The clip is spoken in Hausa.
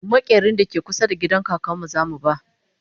maƙerin da ke kusa da gidan kakanmu zamu ba